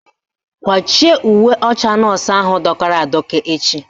Kwachie uwe ọcha nọọsụ ahụ dọkara adọka echi!